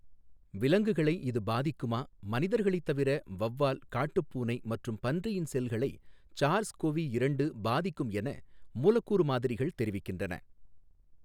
விலங்குகளை இது பாதிக்குமா மனிதர்களைத் தவிர, வௌவால், காட்டுப்பூனை மற்றும் பன்றியின் செல்களை சார்ஸ் கொவி இரண்டு பாதிக்கும் என மூலக்கூறு மாதிரிகள் தெரிவிக்கின்றன.